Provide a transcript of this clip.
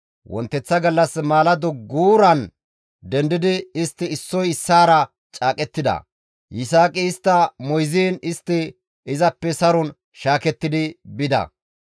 Wonteththa gallas maalado wonttara dendidi istti issoy issaara caaqettida. Yisaaqi istta moyziin istti izappe saron shaakettidi bida.